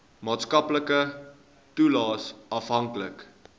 maatskaplike toelaes afhanklik